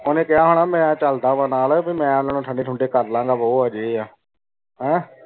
ਓਨੇ ਕਯਾ ਹੋਣਾ ਭੀ ਮੈਂ ਚਲਦਾ ਵਾਂ ਨਾਲ ਭੀ ਮੈਂ ਓਨਾਂ ਨੂ ਠੰਡੇ ਥੁਨ੍ਡੇ ਕਰਲਾਂ ਗਾ ਯਾ ਆ ਵੋ ਆ ਹੇੰ